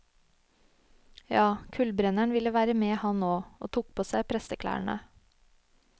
Ja, kullbrenneren ville være med, han òg, og tok på seg presteklærne.